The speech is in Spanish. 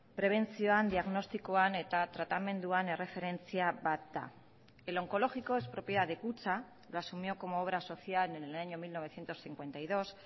prebentzioan diagnostikoan eta tratamenduan erreferentzia bat da el oncológico es propiedad de kutxa lo asumió como obra social en el año mil novecientos cincuenta y dos